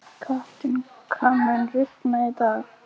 Kathinka, mun rigna í dag?